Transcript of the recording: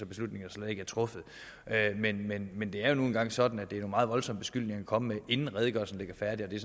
beslutning der slet ikke er truffet men men det er jo nu engang sådan at det er meget voldsomme beskyldninger at komme med inden redegørelsen ligger færdig og jeg